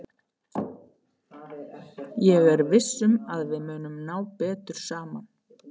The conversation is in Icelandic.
Ég er viss um að við munum ná betur saman.